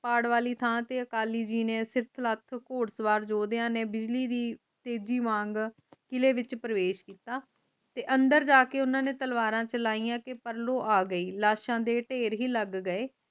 ਪਾੜ ਵਾਲੀ ਥਾਂ ਤੇ ਅਕਾਲੀ ਜੀ ਨੇ ਸਿਰਥ ਲੱਤ ਘੁੜ ਸਵਾਰ ਜੋਧਿਆਂ ਨੇ ਬਿਜਲੀ ਦੀ ਤੇਜ਼ੀ ਵਾਂਗ ਕਿਲੇ ਵਿਚ ਪ੍ਰਵੇਸ਼ ਕੀਤਾ ਤੇ ਅੰਦਰ ਜਾਕੇ ਓਨਾ ਨੇ ਤਲਵਾਰਾ ਚਲਾਇਆ ਕੇ ਪ੍ਰਲੋਹ ਅਗਯੀ ਲਾਸ਼ਾ ਦੇ ਢੇਰ ਲੈ ਗਏ